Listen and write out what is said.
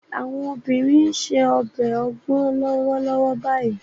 Àwọn obìnrin ń se ọbẹ̀ ogbon lọ́wọ́lọ́wọ́ báyìí